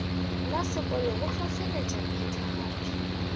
la sekolo go hlohleletša phethagatšo